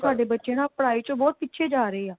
ਸਾਡੇ ਬੱਚੇ ਨਾ ਪੜ੍ਹਾਈ ਚੋ ਬਹੁਤ ਪਿੱਛੇ ਜਾ ਰਹੇ ਏ